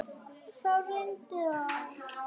Þá reyndi á.